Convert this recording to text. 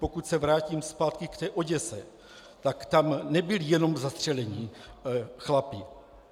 Pokud se vrátím zpátky k té Oděse, tak tam nebyli jenom zastřelení chlapi.